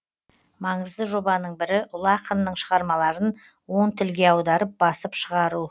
маңызды жобаның бірі ұлы ақынның шығармаларын он тілге аударып басып шығару